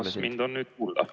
Kas mind on nüüd kuulda?